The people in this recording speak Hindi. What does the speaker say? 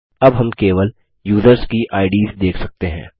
अब हम केवल युसर्स की आईडीएस देख सकते हैं